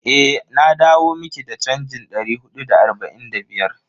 Eh, na dawo miki da chanjin dari hudu da arba'in da biyar.